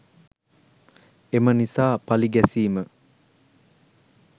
එම නිසා පලි ගැසීම